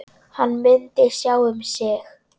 Hann myndi sjá um sig.